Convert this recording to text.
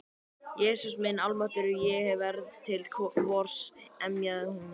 Jesús minn almáttugur, ég verð hér til vors. emjaði hún.